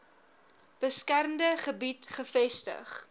beskermde gebied gevestig